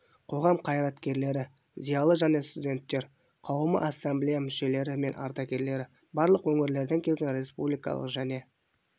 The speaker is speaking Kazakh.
қоғам қайраткерлері зиялы және студенттер қауымы ассамблея мүшелері мен ардагерлері барлық өңірлерден келген республикалық және